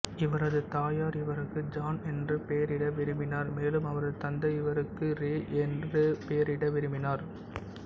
இவரது தாயார் இவருக்கு ஜான் என்று பெயரிட விரும்பினார் மேலும் அவரது தந்தை இவருக்கு ரே என்று பெயரிட விரும்பினார்